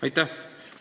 Aitäh!